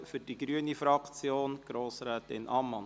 Für die grüne Fraktion spricht Grossrätin Ammann.